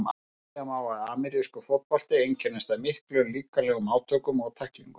Segja má að amerískur fótbolti einkennist af miklum líkamlegum átökum og tæklingum.